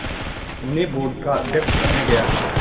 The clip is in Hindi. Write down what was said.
उन्हें बोर्ड का अध्यक्ष बनाया गया